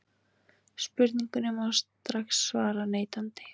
Spurningunni má strax svara neitandi.